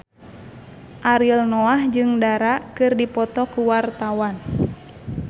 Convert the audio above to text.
Ariel Noah jeung Dara keur dipoto ku wartawan